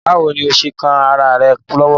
Báwo ni ó ṣe kán ará rẹ̀ lọ́wọ́?